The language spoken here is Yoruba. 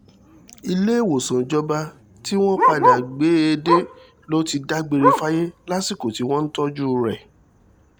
ìléwòsàn ìjọba tí wọ́n padà gbé e dé ló ti dágbére fáyé lásìkò tí wọ́n ń tọ́jú rẹ̀